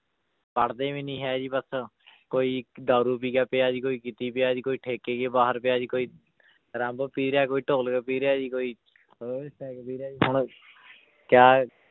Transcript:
ਪੜ੍ਹਦੇ ਵੀ ਨੀ ਹੈ ਜੀ ਬਸ ਕੋਈ ਦਾਰੂ ਪੀ ਕੇ ਪਿਆ ਜੀ ਕੋਈ ਕਿਤੇ ਪਿਆ ਜੀ ਕੋਈ ਠੇਕੇ ਕੇ ਬਾਹਰ ਪਿਆ ਜੀ ਕੋਈ ਰੰਬ ਪੀ ਰਿਹਾ ਕੋਈ ਢੋਲਕ ਪੀ ਰਿਹਾ ਜੀ ਕੋਈ ਪੀ ਰਿਹਾ ਜੀ ਹੁਣ ਕਿਆ